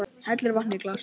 Hellir vatni í glas.